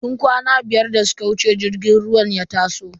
Tun kwana biyar da suka wuce jirgin ruwan ya taso.